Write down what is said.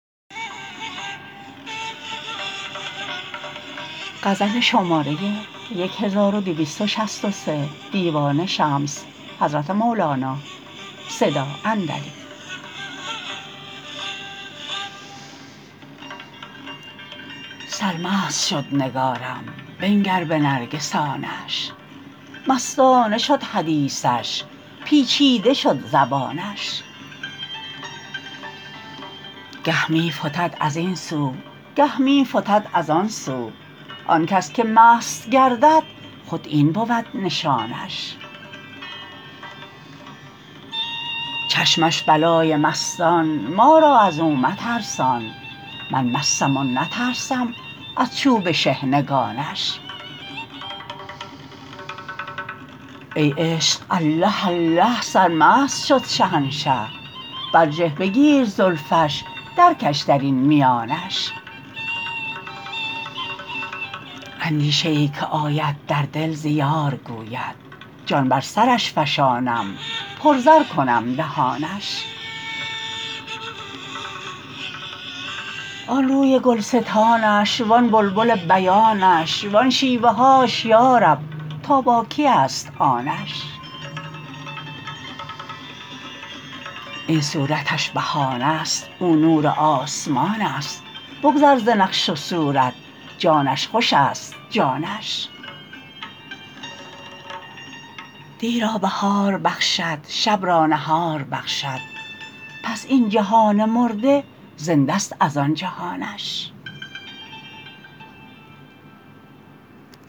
سرمست شد نگارم بنگر به نرگسانش مستانه شد حدیثش پیچیده شد زبانش گه می فتد از این سو گه می فتد از آن سو آن کس که مست گردد خود این بود نشانش چشمش بلای مستان ما را از او مترسان من مستم و نترسم از چوب شحنگانش ای عشق الله الله سرمست شد شهنشه برجه بگیر زلفش درکش در این میانش اندیشه ای که آید در دل ز یار گوید جان بر سرش فشانم پرزر کنم دهانش آن روی گلستانش وان بلبل بیانش وان شیوه هاش یا رب تا با کیست آنش این صورتش بهانه ست او نور آسمانست بگذر ز نقش و صورت جانش خوشست جانش دی را بهار بخشد شب را نهار بخشد پس این جهان مرده زنده ست از آن جهانش